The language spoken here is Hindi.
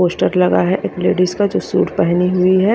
पोस्टर लगा है एक लेडिस का जो सूट पहनी हुई है।